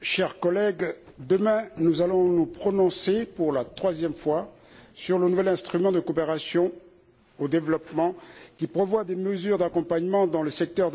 chers collègues, demain, nous allons nous prononcer pour la troisième fois sur le nouvel instrument de coopération au développement qui prévoit des mesures d'accompagnement dans le secteur de la banane pour les pays ACP exportateurs de bananes